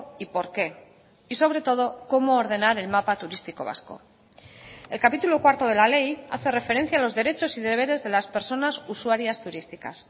y porqué y sobre todo cómo ordenar el mapa turístico vasco el capítulo cuarto de la ley hace referencia a los derechos y deberes de las personas usuarias turísticas